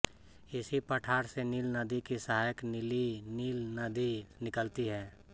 इसी पठार से नील नदी की सहायक नीली नील नदी निकलती है